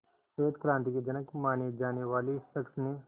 श्वेत क्रांति के जनक माने जाने वाले इस शख्स ने